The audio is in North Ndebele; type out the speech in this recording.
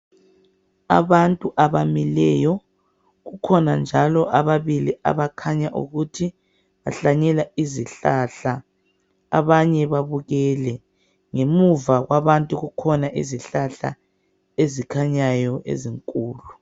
Abantu abamileyo kukhona njalo ababili abakhanya ukuthi bahlanyela izihlahla abanye babukele ,ngemuva kwabantu kukhona izihlahla ezikhanyayo ezinkulu.